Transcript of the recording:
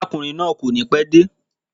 Arákùnrin náà ò ní pé de